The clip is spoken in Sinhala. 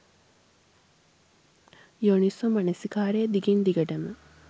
යෝනිසෝ මනසිකාරය දිගින් දිගටම